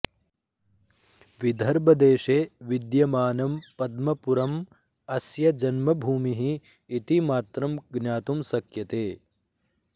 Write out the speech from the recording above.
विदर्भदेशे विद्यमानं पद्मपुरम् अस्य जन्मभूमिः इतिमात्रम् ज्ञातुं शक्यते